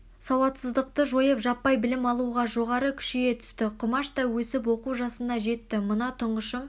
сауатсыздықты жойып жаппай білім алу жоғары күшейе түсті құмаш та өсіп оқу жасына жетті мына тұнғышым